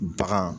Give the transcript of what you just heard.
Bagan